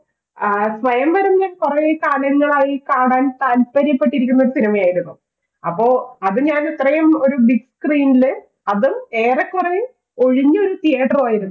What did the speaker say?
ആ സ്വയംവരെ ഞാൻ കുറെ കാലങ്ങളായി കാണാൻ താല്പര്യപ്പെട്ടിരിക്കുന്ന ഒരു cinema യായിരുന്നു. അപ്പോ അത് ഞാന് ഇത്രയും ഒരു ബിഗ്സ്ക്രീൻ ൽ അതും ഏറെക്കുറെ ഒഴിഞ്ഞ ഒരു theater റും ആയിരുന്നു